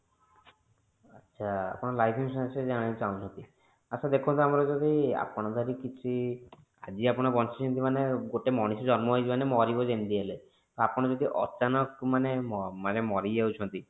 ଆଚ୍ଛା ଆପଣ life insurance ବିଷୟରେ ଜାଣିବାକୁ ଚାହୁଁଛନ୍ତି ଆଚ୍ଛା ଦେଖନ୍ତୁ ଆମର ଯଦି ଆପଣ ଯଦି କିଛି ଆଜି ଆପଣ ବଞ୍ଚିଛନ୍ତି ମାନେ ଗୋଟେ ମଣିଷ ଜନ୍ମ ହେଇଛି ମାନେ ମରିବ ତ ଯେମିତି ହେଲେ ଆପଣ ଯଦି ଅଚାନକ ମାନେ ମ ମାନେ ମରି ମରିଯାଉଛି